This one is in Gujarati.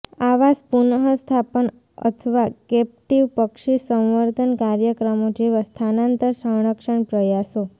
આવાસ પુનઃસ્થાપન અથવા કેપ્ટિવ પક્ષી સંવર્ધન કાર્યક્રમો જેવા સ્થાનાંતર સંરક્ષણ પ્રયાસો